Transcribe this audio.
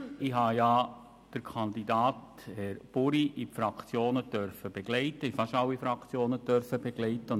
Ich habe den Kandidaten, Herrn Buri, in fast alle Fraktionen begleiten dürfen.